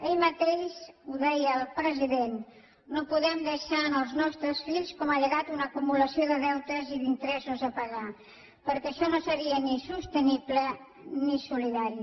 ahir mateix ho deia el president no podem deixar als nostres fills com a llegat una acumulació de deutes i d’interessos a pagar perquè això no seria ni sostenible ni solidari